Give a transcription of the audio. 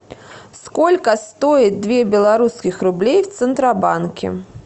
сколько стоит две белорусских рублей в центробанке